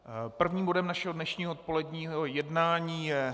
Prvním bodem našeho dnešního odpoledního jednání je